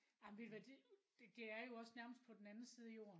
Jamen ved du hvad det det er jo også nærmest på den anden side af Jorden